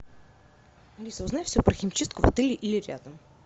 алиса узнай все про химчистку в отеле или рядом